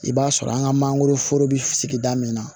I b'a sɔrɔ an ka mangoroforo be sigida min na